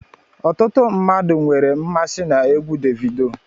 Ọtụtụ mmadụ nwere mmasị na egwú Davido